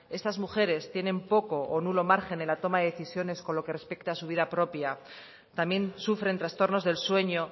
estas mujeres tienen poco o nulo margen en la toma de decisiones con lo que respecta a su vida propia también sufren trastornos del sueño